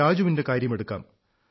രാജുവിന്റെ കാര്യമെടുക്കാം